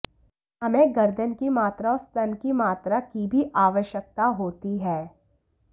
हमें गर्दन की मात्रा और स्तन की मात्रा की भी आवश्यकता होती है